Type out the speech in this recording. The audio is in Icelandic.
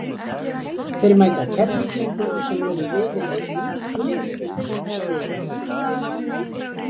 Þeir mæta Keflvíkingum sem unnu riðil eitt með fullt hús stiga.